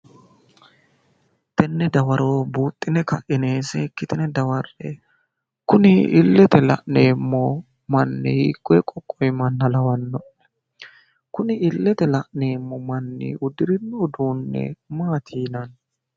Tenne dawaro buuxxine kaine seekkitine dawarre''e Kuni illete la'neemmo manni hiikkunni qoqqowi manna lawanno'ne? Kuni illetenni la'neemmo manni uddirino uduunni maati yinanni?